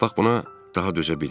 Bax buna daha dözə bilmədim.